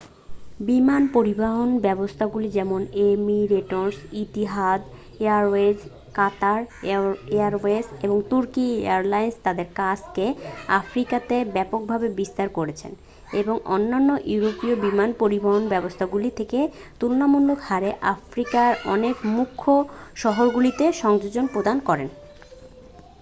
বিমান পরিবহণব্যবস্থাগুলি যেমন Emirates Etihad Airways Qatar Airways এবং তুর্কি এয়ারলাইন্স তাদের কাজ কে আফ্রিকাতে ব্যাপকভাবে বিস্তার করেছে এবং অন্যান্য ইউরোপীয় বিমান পরিবহণব্যবস্থাগুলির থেকে তুলনামূলক হারে আফ্রিকার অনেক মুখ্য শহরগুলিতে সংযোগ প্রদান করে